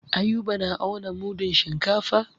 Ayuba na auna mudun shinkafa.